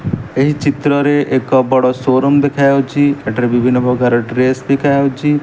ଏହି ଚିତ୍ରରେ ଏକ ବଡ଼ ସୋ ରୁମ୍ ଦେଖାଯାଉଛି ଏଠାରେ ବିଭିନ୍ନ ପ୍ରକାର ଡ୍ରେସ ବିକା ହଉଛି ।